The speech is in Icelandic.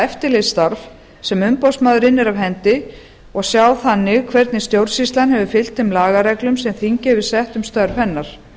eftirlitsstarf sem umboðsmaður innir af hendi og sjá þannig hvernig stjórnsýslan hefur fylgt þeim lagareglum sem þingið hefur sett um störf hennar